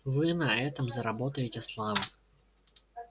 вы на этом заработаете славу